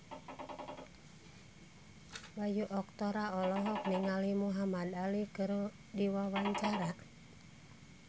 Bayu Octara olohok ningali Muhamad Ali keur diwawancara